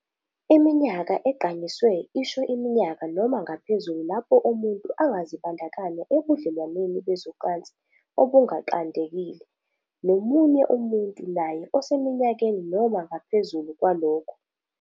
Iminyaka egqanyisiwe isho iminyaka noma ngaphezulu lapho umuntu angazibandakanya ebudlelwaneni bezocansi obunganqandekile nomunye umuntu naye oseminyakeni noma ngaphezulu kwalokho.